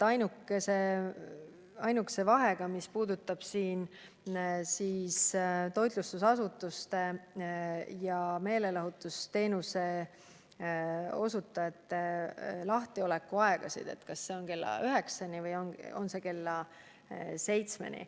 Ainuke vahe puudutas toitlustusasutuste lahtiolekuaegasid ja meelelahutusteenuste osutamise aega: kas see on lubatud kella 21-ni või kella 19-ni.